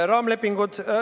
Raamlepingud ...